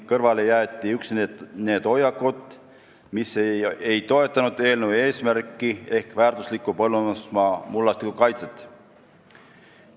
Kõrvale jäeti üksnes need hoiakud, mis ei toetanud eelnõu eesmärki ehk väärtusliku põllumajandusmaa mullastiku kaitset.